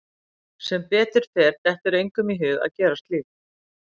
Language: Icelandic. Sem betur fer dettur engum í hug að gera slíkt.